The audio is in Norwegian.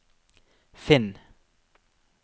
finn